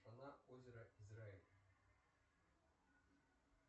озера израиль